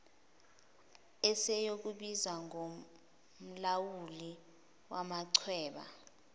esiyokubizwa ngomlawuli wamachweba